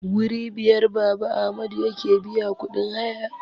Wuri biyar Baba Amadu yake biya kudin haya